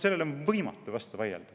Sellele on võimatu vastu vaielda.